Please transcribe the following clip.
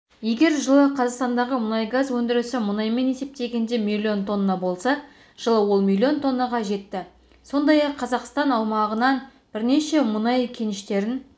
егер жылы қазақстандағы мұнайгаз өндірісі мұнаймен есептегенде миллион тонна болса жылы ол миллион тоннаға жетті сондай-ақ қазақстан аумағынан бірнеше мұнай кеніштерін